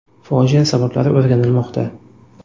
Fojia sabablari o‘rganilmoqda.